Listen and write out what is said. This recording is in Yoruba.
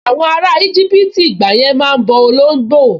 Àwọn ará íjíbítì ìgbàyẹn máa n bọ olóngbò